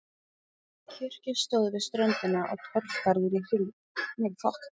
Kirkja stóð við ströndina og torfgarður í kring.